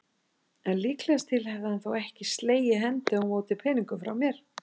En líkast til hefði hann þó ekki slegið hendi á móti peningum frá mér.